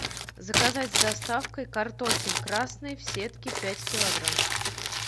заказать с доставкой картофель красный в сетке пять килограмм